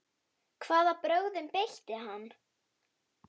Hvaða brögðum beitti hann?